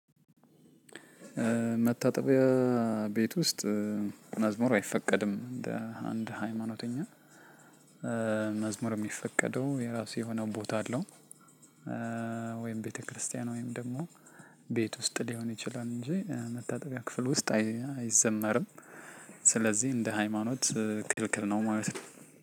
መታጠቢያ ቤት ውስጥ መዝሙር አይፈቀድም እንደ አንድ ሃይማኖተኛ መዝሙር የሚፈቀደው የራሱ የሆነው ቦታ አለው። ወይም ቤተክርስቲያን ወይም ደግሞ ቤት ውስጥ ሊሆን ይችላል እንጂ መታጠቢያ ክፍል ውስጥ አይዘመርም። ስለዚህ እንደ ሃይማኖት ክልክል ነው ማለት ነው።